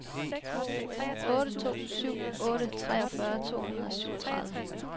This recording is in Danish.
otte to syv otte treogfyrre to hundrede og syvogtredive